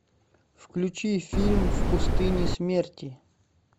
включи фильм в пустыне смерти